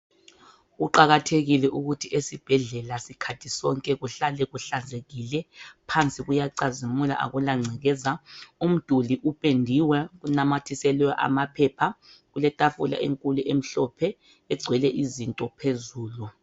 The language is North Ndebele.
Kuqakathekile ukuthi ezibhedlela sikhathi sonke kuhlale kuhlanzekile. Phansi kuyacazimula, akulangcekeza. Umduli upendiwe. Unamathiselwe amaphepha. Kuletafula enkulu emhlophe. Egcwele izinto phezulu.